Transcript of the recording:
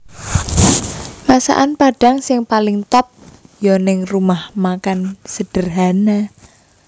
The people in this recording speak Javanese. Masakan Padang sing paling top yo ning Rumah Makan Sederhana